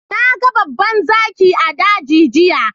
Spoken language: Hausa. Na gan babban zaki a dagi giya.